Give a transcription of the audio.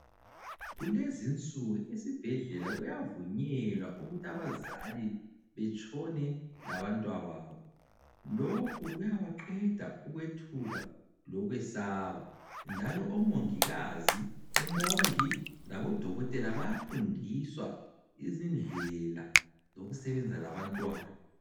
Kulezinsuku esibhedlela kuyavunyelwa ukuthi abazali betshone labantwababo. Lokhu kuyabaqeda ukwethuka lokwesaba, njalo omongikazi, omongi labodokotela bayafundiswa izindlela zokusebenza labantwana.